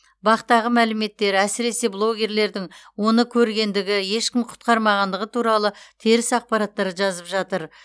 бақ тағы мәліметтер әсіресе блогерлердің оны көргендігі ешкім құтқармағандығы туралы теріс ақпараттар жазып жатыр